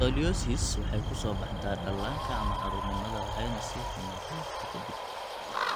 Scoliosis waxay ku soo baxdaa dhallaanka ama caruurnimada waxayna sii xumaataa waqti ka dib.